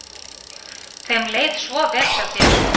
Þeim leið svo vel hjá þér.